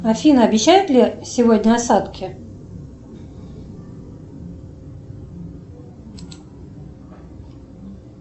афина обещают ли сегодня осадки